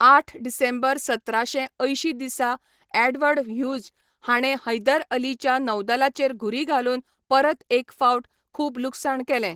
आठ डिसेंबर सतराशे अंयशीं दिसा एडवर्ड ह्यूज हाणें हैदर अलीच्या नौदलाचेर घुरी घालून परत एक फावट खूब लुकसाण केलें.